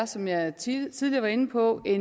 som jeg tidligere var inde på er